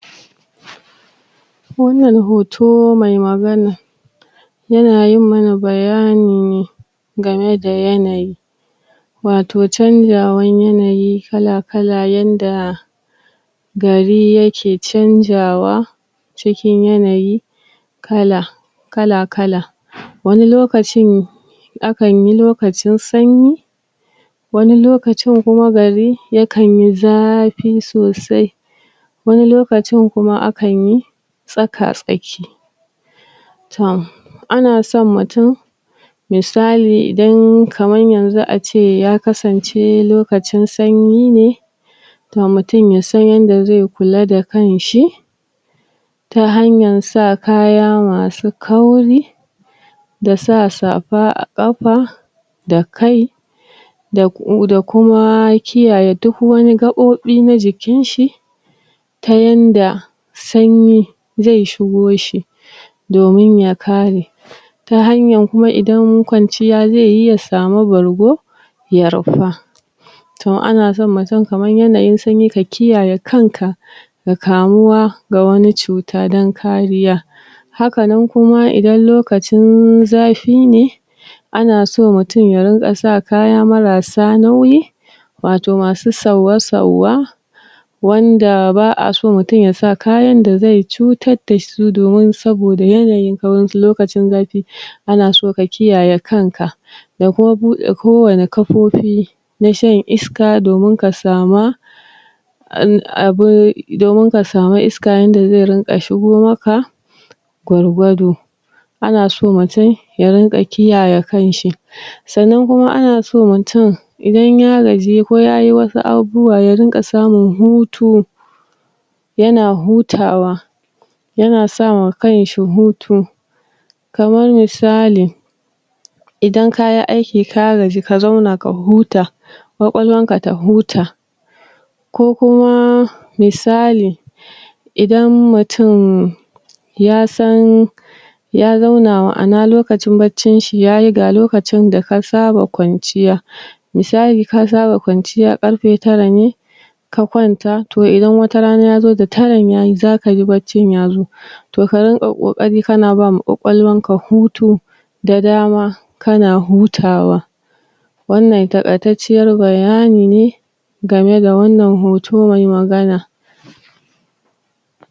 Wannan hoto mai magana yana yi mana bayani ne game da yanayi. wato canzawar yanayi kalakala yanda gari yake canzawa, cikin yanayi kala kalakala, wani lokacin akan yi lokacin sanyi, wani lokacin kuma gari yakanyi zafi sosai, wani lokacin kuma akanyi tsakatsaki. Ton, ana son mutum misali idan kaman yanzu ace ya kasance yanzu lokacin sanyi ne, to mutum ya san yanda zai kula da kanshi, ta hanyar sa kaya masu kauri, da sa safa a ƙafa, da kai, da kuma kiyaye duk wani gaɓoɓi na jikinshi, ta yanda, sanyi zai shigo shi domin ya kare, ta hanyar kuma idan kwanciya zai yi ya sami bargo, ya rufa. To in ana son mutum kaman yanayin sanyi ka kiyaye kanka, da kamuwa da wani cuta don kariya. Hakan nan kuma idan lokacin zafi ne, ana so mutum ya ringa sa kaya marasa nauyi, wato masu sauwa-sauwa, wanda ba'a so mutum ya sa kayan da zai cutar da su, domin saboda yanayi na wasu lokacin zafi, ana so ka kiyaye kanka da kuma buɗe kowanne kafofi na shan iska domin ka sama abun.... domin ka sama iska yanda zai rinƙa shigo maka, gwargwado Ana so mutum ya rinƙa kiyaye kan shi sannan kuma ana so mutunm idan ya kaji ko yayi wasu abubuwa ya rinƙa samun hutu, yana hutawa, yana sawa kan shi hutu, kamar misali, idan kayi aiki ka gaji ka zauna ka huta, ƙwaƙwalwanka ta huta. Ko kuma misali idan mutum ya san ya zauna ma'ana lokacin baccin shi yayi, ga lokacin da ka saba kwanciya misali ka saba kwanciya karfe tara ne, ka kwanta to idan watarana ta zo da taran tayi za ka ji baccin ya zo, to ka rinƙa ƙoƙari kana bama ƙwaƙwalwanka hutu da dama kana hutawa. Wannan taƙaitacciyar bayani ne game da wannan hoto mai magana.